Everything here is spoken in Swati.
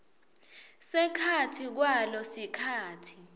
sekhatsi kwalo sikhatsi